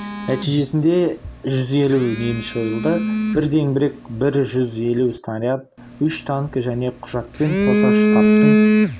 нәтижесінде жүз елу неміс жойылды бір зеңбірек бір жүз елу снаряд үш танкі және құжатпен қоса штабтың